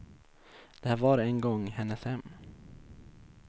Det här var en gång hennes hem.